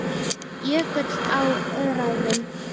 Jökull á Öræfum.